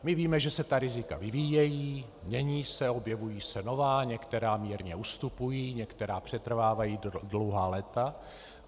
My víme, že se ta rizika vyvíjejí, mění se, objevují se nová, některá mírně ustupují, některá přetrvávají dlouhá léta.